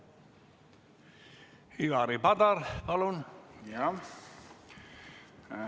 Ivari Padar, palun!